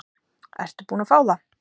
Ertu búin að fá það?